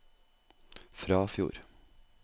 Frafjord